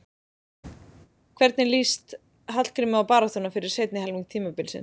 Hvernig lýst Hallgrími á baráttuna fyrir seinni helming tímabilsins?